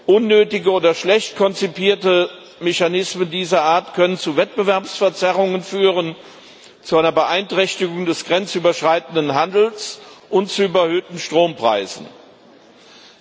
Unnötige oder schlecht konzipierte Mechanismen dieser Art können zu Wettbewerbsverzerrungen, zu einer Beeinträchtigung des grenzüberschreitenden Handels und zu überhöhten Strompreisen führen.